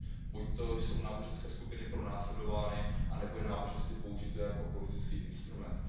Buďto jsou náboženské skupiny pronásledovány anebo je náboženství použito jako politický instrument.